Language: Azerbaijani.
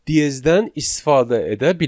Diezdən istifadə edə bilmərik.